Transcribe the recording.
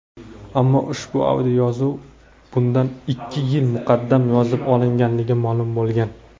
ammo ushbu audioyozuv bundan ikki yil muqaddam yozib olinganligi ma’lum bo‘lgan.